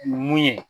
Mun ye